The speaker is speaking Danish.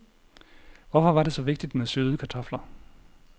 Hvorfor var det så vigtigt med søde kartofler?